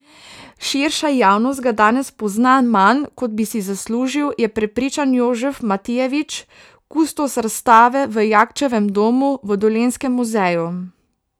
Širša javnost ga danes pozna manj, kot bi si zaslužil, je prepričan Jožef Matijevič, kustos razstave v Jakčevem domu v Dolenjskem muzeju.